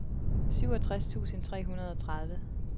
syvogtres tusind tre hundrede og tredive